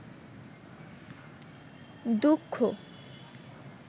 দুঃখ